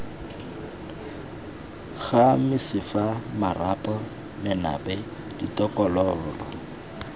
ga mesifa marapo menape ditokololo